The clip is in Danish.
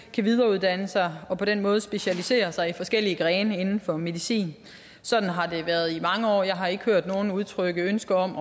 kan videreuddanne sig og på den måde specialisere sig i forskellige grene inden for medicin sådan har det været i mange år jeg har ikke hørt nogen udtrykke ønske om